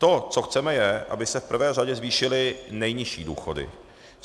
To, co chceme, je, aby se v první řadě zvýšily nejnižší důchody.